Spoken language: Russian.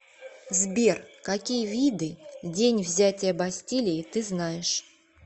сбер какие виды день взятия бастилии ты знаешь